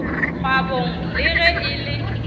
kgwabong le ge e le